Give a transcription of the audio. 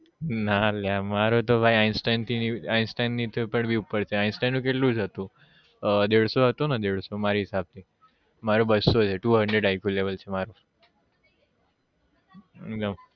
ના અલ્યા મારો તો ભાઈ Einstein થી Einstein થી બી ઉપર છે Einstein નું કેટલું હતું? દેડ્સો હતું ને દેડ્સો મારા હિસાબ થી મારું બસો છે two hundred i q level છે મારું હમ